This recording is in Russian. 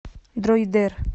дроидер